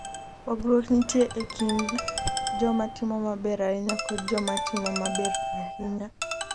Pogruok nitie e kind joma timo maber ahinya kod joma timo maber ahinya.